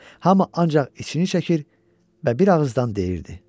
Hamı ancaq içini çəkir və bir ağızdan deyirdi: